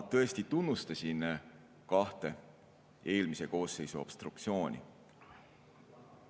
Ma tõesti tunnustasin kahte eelmise koosseisu obstruktsiooni.